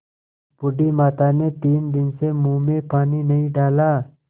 बूढ़ी माता ने तीन दिन से मुँह में पानी नहीं डाला